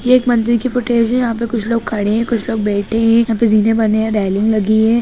ये एक मंदिर की फुटेज है यहाँ पे कुछ लोग खड़े हैं कुछ लोग बैठे हैं यहाँ पे जीने बने हैं रेलिंग लगी है।